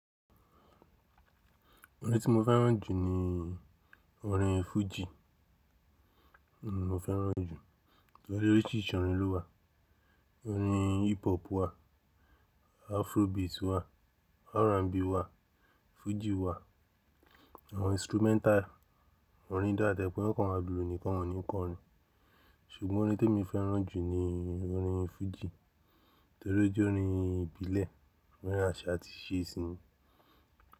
Orin tí mo fẹ́ràn jù ni orin fújì ni mo fẹ́ràn jù, torí pé oríṣìíríṣìí orin ló wà. Orin hip hop wà, afrobeat wà, R&B wà, fújì wà, àwọn instrumental, orin ta dé gbọ́, won kan ma lulu nìkan ni, won ni kọrin ṣùgbọ́n orin tó mi fẹ́ràn jù ni orin fújì, torí pé ó jẹ́ orin ìbílẹ̀, orin àṣà àti ìṣe si ni.